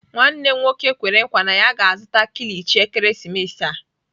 Nwanne m nwoke kwere nkwa na ya ga-azụta kilichi ekeresimesi a.